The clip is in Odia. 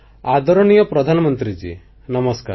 ଆଦରଣୀୟ ପ୍ରଧାନମନ୍ତ୍ରୀ ମହୋଦୟ ନମସ୍କାର